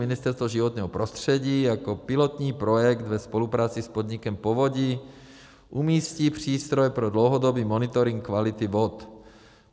Ministerstvo životního prostředí jako pilotní projekt ve spolupráci s podnikem povodí umístí přístroj pro dlouhodobý monitoring kvality vod.